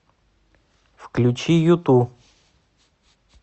включи юту